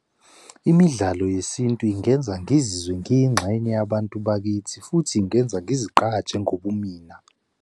Imidlalo yesintu ingenza ngizizwe ngiyingxenye yabantu bakithi futhi ingenza ngizigqaje ngobumina.